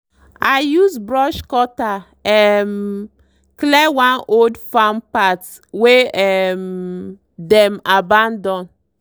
i use brush cutter um clear one old farm path wey um dem abandon.